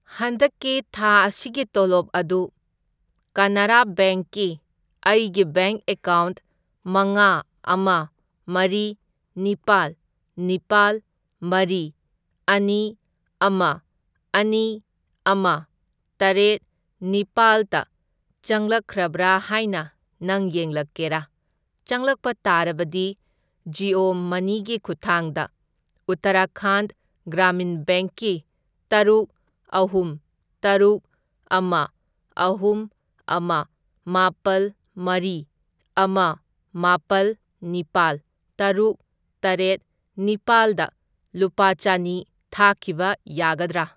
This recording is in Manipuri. ꯍꯟꯗꯛꯀꯤ ꯊꯥ ꯑꯁꯤꯒꯤ ꯇꯣꯂꯣꯞ ꯑꯗꯨ ꯀꯅꯥꯔꯥ ꯕꯦꯡꯛ ꯀꯤ ꯑꯩꯒꯤ ꯕꯦꯡꯛ ꯑꯦꯀꯥꯎꯟꯠ ꯃꯉꯥ, ꯑꯃ, ꯃꯔꯤ, ꯅꯤꯄꯥꯜ, ꯅꯤꯄꯥꯜ, ꯃꯔꯤ, ꯑꯅꯤ, ꯑꯃ, ꯑꯅꯤ, ꯑꯃ, ꯇꯔꯦꯠ, ꯅꯤꯄꯥꯜꯇ ꯆꯪꯂꯛꯈ꯭ꯔꯕ꯭ꯔꯥ ꯍꯥꯏꯅ ꯅꯪ ꯌꯦꯡꯂꯛꯀꯦꯔꯥ? ꯆꯪꯂꯛꯄ ꯇꯥꯔꯕꯗꯤ ꯖꯤꯑꯣ ꯃꯅꯤꯒꯤ ꯈꯨꯠꯊꯥꯡꯗ ꯎꯠꯇꯔꯥꯈꯥꯟꯗ ꯒ꯭ꯔꯥꯃꯤꯟ ꯕꯦꯡꯛ ꯀꯤ ꯇꯔꯨꯛ, ꯑꯍꯨꯝ, ꯇꯔꯨꯛ, ꯑꯃ, ꯑꯍꯨꯝ, ꯑꯃ, ꯃꯥꯄꯜ, ꯃꯔꯤ, ꯑꯃ, ꯃꯥꯄꯜ, ꯅꯤꯄꯥꯜ, ꯇꯔꯨꯛ, ꯇꯔꯦꯠ, ꯅꯤꯄꯥꯜꯗ ꯂꯨꯄꯥ ꯆꯅꯤ ꯊꯥꯈꯤꯕ ꯌꯥꯒꯗ꯭ꯔꯥ?